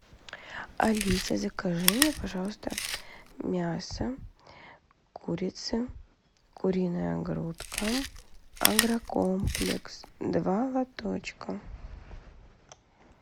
алиса закажи мне пожалуйста мясо курицы куриная грудка агрокомплекс два лоточка